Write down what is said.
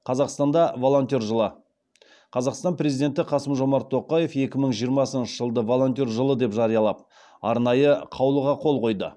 қазақстанда волонтер жылы қазақстан президенті қасым жомарт тоқаев екі мың жиырмасыншы жылды волонтер жылы деп жариялап арнайы қаулыға қол қойды